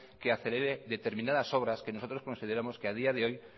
que acelere determinadas obras que nosotros consideramos que a día de hoy